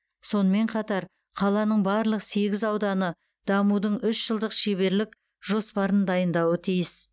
сонымен қатар қаланың барлық сегіз ауданы дамудың үш жылдық шеберлік жоспарын дайындауы тиіс